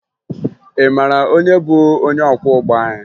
Ị mara onye bụ onye ọkwọụgbọ anyị?